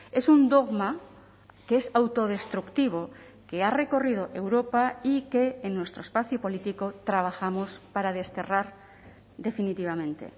es un dogma que es autodestructivo que ha recorrido europa y que en nuestro espacio político trabajamos para desterrar definitivamente